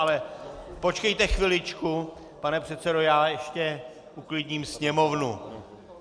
- Ale počkejte chviličku pane předsedo, já ještě uklidním sněmovnu.